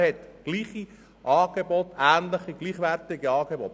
Er hat ähnliche, gleichwertige Angebote.